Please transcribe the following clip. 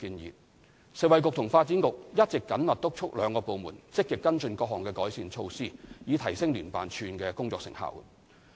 食物及衞生局及發展局一直緊密督促兩個部門積極跟進各項改善措施，以提升聯辦處的工作成效。